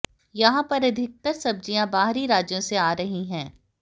यहां पर अधिकतर सब्जियां बाहरी राज्यों से आ रही हैं